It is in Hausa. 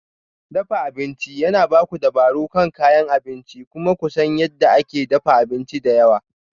Dafa abinci yana ba ku dabaro kan kayan abinci kuma ku san yadda ake dafa abinci da yawa.